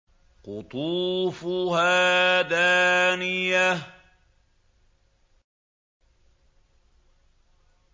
قُطُوفُهَا دَانِيَةٌ